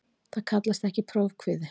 Það kallast ekki prófkvíði.